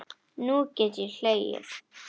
Nú get ég hlegið.